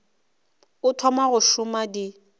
o thoma go šoma di